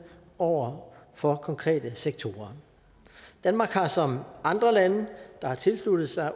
over for konkrete sektorer danmark har som andre lande der har tilsluttet sig